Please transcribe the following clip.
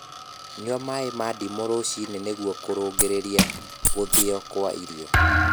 Nyua maĩ ma ndimu ruci-ini nĩguo kurungirirĩa guthio kwa irio